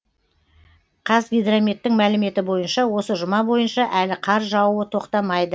қазгидрометтің мәліметі бойынша осы жұма бойынша әлі қар жаууы тоқтамайды